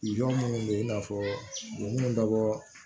minnu bɛ yen i n'a fɔ minnu bɛ bɔɔ